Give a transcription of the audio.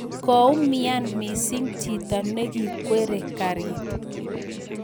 Koumian missing chito neikwerie karit